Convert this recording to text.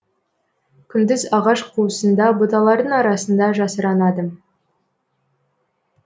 күндіз ағаш қуысында бұталардың арасында жасырынады